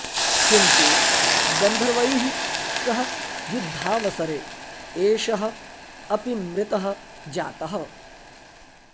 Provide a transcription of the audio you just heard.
किन्तु गन्धर्वैः सह युद्धावसरे एषः अपि मृतः जातः